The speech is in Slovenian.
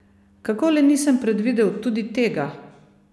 Kako le nisem predvidel tudi tega?